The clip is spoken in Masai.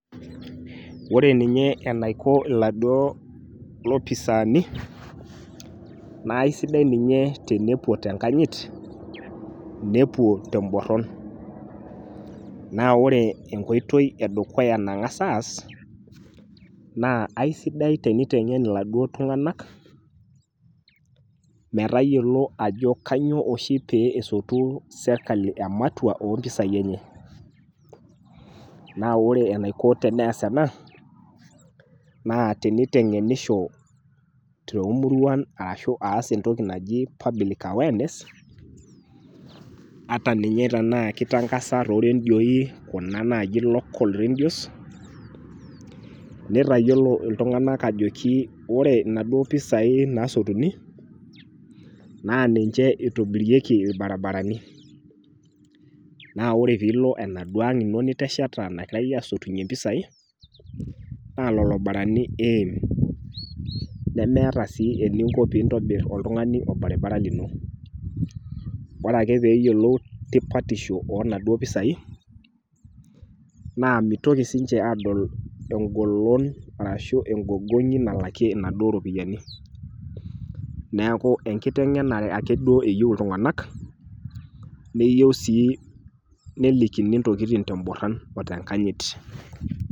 Ore ninye enaiko iladuo lopisaani naaisidai ninye tenepuo tenkanyit nepuo temborron. Naa ore enkoitoi edukuya naang'as aas naa aisidai teneiteng'en iladuo tung'anak metayiolo ajo kanyoo oshi pee esotuu serkali ematua oompisai enye. Naa ore enaiko teneas ena naa teneiteng'enisho toomuruan ashuu entoki naji public awareness ata ninye tenaakeitangasa toorendioi kuna naaji local redios neitayiolo iltung'anak ajoki ore naduo pisai nasotuni naa ninche eitobirieki ilbarabarani. Naa ore piilo enaduo ang' ino nitesheta naitayo asotunye impisai naa lolobarani iim nemeeta sii eninko piintobirr oltung'ani olbaribara lino. Ore ake peeyiolou tipatisho oonaduo pisai naa meitoki siinche aadol engolon arashu engogoni nalakie inaduo ropiyani. Neaku enkiteng'enare ake duo eyou iltung'anak neyou sii nelikini intokitin temborron o tenkanyit.